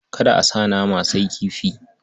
Kada a sa nama, sai kifi.